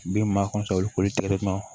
Den maa